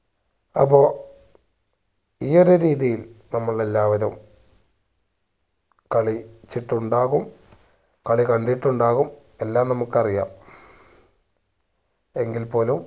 അപ്പൊ ഈ ഒരു രീതിയിൽ നമ്മൾ എല്ലാവരും കളിച്ചിട്ടുണ്ടാകും കളികണ്ടിട്ടുണ്ടാകും എല്ലാം നമുക്കറിയാം എങ്കിൽപ്പോലും